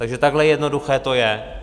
Takže takhle jednoduché to je.